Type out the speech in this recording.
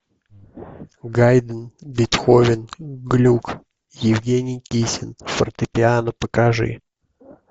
гайдн бетховен глюк евгений кисин фортепиано покажи